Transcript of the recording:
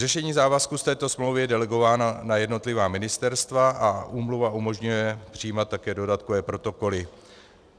Řešení závazků z této smlouvy je delegováno na jednotlivá ministerstva a úmluva umožňuje přijímat také dodatkové protokoly.